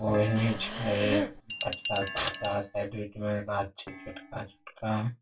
ओहने छै कचड़ा-कुचड़ा साइड विड में गाछ छै छोटका-छोटका ।